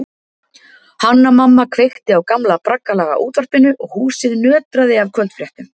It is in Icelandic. Hanna-Mamma kveikti á gamla braggalaga útvarpinu og húsið nötraði af kvöldfréttum.